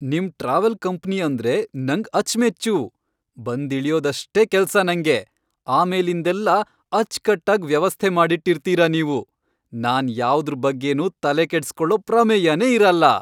ನಿಮ್ travel company ಅಂದ್ರೆ ನಂಗ್ ಅಚ್ಚ್ಮೆಚ್ಚು. ಬಂದಿಳಿಯೋದಷ್ಟೇ ಕೆಲ್ಸ ನಂಗೆ. ಆಮೇಲಿಂದೆಲ್ಲ ಅಚ್ಕಟ್ಟಾಗ್ ವ್ಯವಸ್ಥೆ ಮಾಡ್ಬಿಟಿರ್ತೀರ ನೀವು.. ನಾನ್ ಯಾವ್ದ್ರ್ ಬಗ್ಗೆನೂ ತಲೆಕೆಡ್ಸ್ಕೊಳೋ ಪ್ರಮೇಯನೇ ಇರಲ್ಲ!